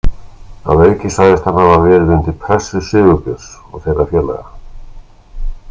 Að auki sagðist hann hafa verið undir pressu Sigurbjörns og þeirra félaga.